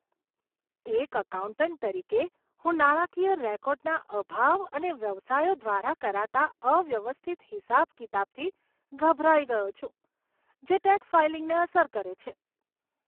એક એકાઉન્ટન્ટ તરીકે, હું નાણાકીય રેકોર્ડના અભાવ અને વ્યવસાયો દ્વારા કરાતા અવ્યવસ્થિત હિસાબ કિતાબથી ગભરાઈ ગયો છું, જે ટેક્સ ફાઇલિંગને અસર કરે છે.